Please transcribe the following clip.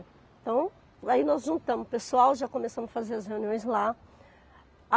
Então, aí nós juntamos o pessoal, já começamos a fazer as reuniões lá.